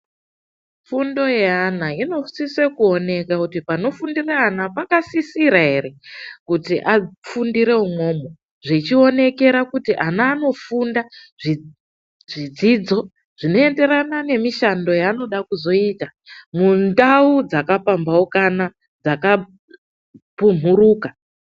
Fundo yeaana inosisa kuoneka kuti panofundira ana pakasisira ere kuti afundire umwomwo, zvichionekera kuti ana anofunda zvidzodzo zvinoenderana nemishando yaanoda kuzoita mundau dzakapamhaukana, dzakapumhuruka.